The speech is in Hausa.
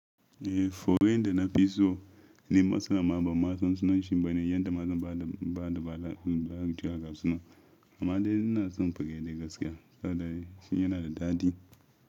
Eh, furen da na fi so ne masalan. Amma bansan sunan shimbane yadda ma zasan ba da ba da bala'i tuya ga suna. Amma dai ina son fanke dai gaskiya saboda shi yana da daɗi.